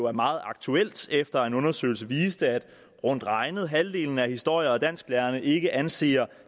er meget aktuelt efter en undersøgelse viste at rundt regnet halvdelen af historie og dansklærerne ikke anser